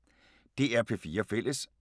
DR P4 Fælles